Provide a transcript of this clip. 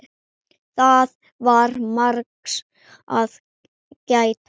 Það var margs að gæta.